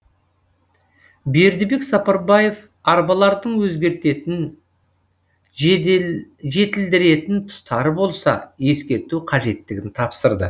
бердібек сапарбаев арбалардың өзгертетін жетілдіретін тұстары болса ескерту қажеттігін тапсырды